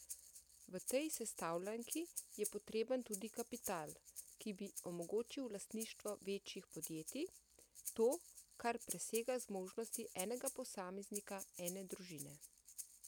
V tej sestavljanki je potreben tudi kapital, ki bi omogočil lastništvo večjih podjetij, to, kar presega zmožnosti enega posameznika, ene družine.